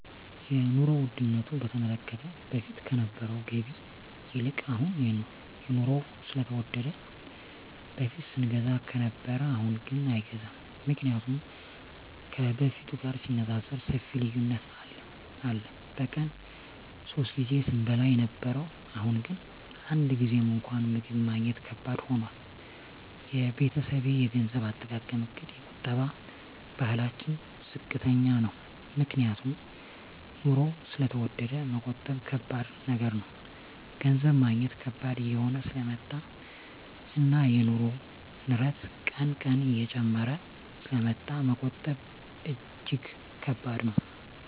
የኑሮ ዉድነቱ በተመለከተ በፊት ከነበረዉ ገቢ ይልቅ አሁን የኑሮዉ ስለተወደደ በፊት ስንገዛ ከነበረ አሁንግን አይገዛም ምክንያቱም ከበፊቱ ጋር ሲነፃፀር ሰፊ ልዩነት አለ በቀን ሶስት ጊዜ ስንበላ የነበረዉ አሁን ግን አንድ ጊዜም እንኳን ምግብ ማግኘት ከባድ ሆኗል የቤተሰቤ የገንዘብ አጠቃቀምእቅድ የቁጠባ ባህላችን ዝቅተኛ ነዉ ምክንያቱም ኑሮዉ ስለተወደደ መቆጠብ ከባድ ነገር ነዉ ገንዘብ ማግኘት ከባድ እየሆነ ስለመጣእና የኑሮዉ ንረት ቀን ቀን እየጨመረ ስለሚመጣ መቆጠብ እጂግ ከባድ ነዉ